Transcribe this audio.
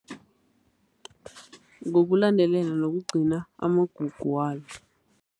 Ngokulandelela nokugcina amagugu walo.